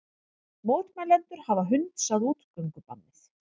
Mótmælendur hafa hunsað útgöngubannið